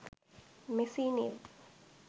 messi new